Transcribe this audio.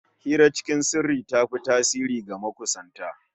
Hira cikin sirri ta fi tasiri ga makusanta